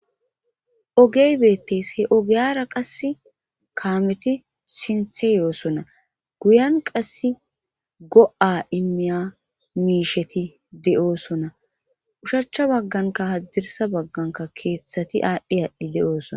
Ogey beettes he ogeyara qas kaameti sinthe yoosona guyan qass go7a immiya miisheti de7oosona ushachcha bagganka haddirsa bagganka keeththati aadhdhe haadhdhi de7oosona.